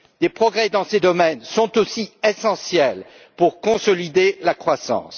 Des progrès dans ces domaines sont aussi essentiels pour consolider la croissance.